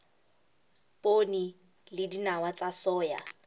poone le dinawa tsa soya